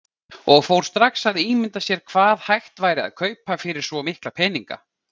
Og fór strax að ímynda sér hvað hægt væri að kaupa fyrir svo mikla peninga.